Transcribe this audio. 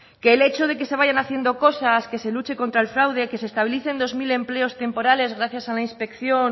que el hecho de que se vayan haciendo cosas que se luche contra el fraude que se estabilicen dos mil empleos temporales gracias a la inspección